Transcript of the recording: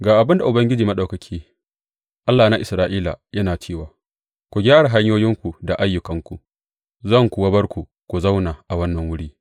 Ga abin da Ubangiji Maɗaukaki, Allahna Isra’ila, yana cewa ku gyara hanyoyinku da ayyukanku, zan kuwa bar ku ku zauna a wannan wuri.